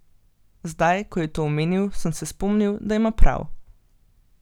Zdaj ko je to omenil, sem se spomnil, da ima prav.